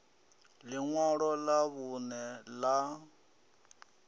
ḽi ṅwalo ḽa vhuṋe ḽa